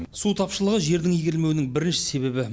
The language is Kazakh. су тапшылығы жердің игерілмеуінің бірінші себебі